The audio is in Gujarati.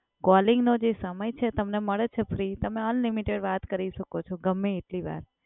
Calling નો જે સમય છે તમને મળે છે ફ્રી તમે unlimited વાત કરી શકો છો ગમ્મે એટલી વાર.